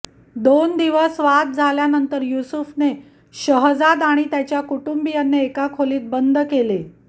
दोन दिवस वाद झाल्यानंतर युसूफने शहजाद आणि त्याच्या कुटुंबियांना एका खोलीत बंद केले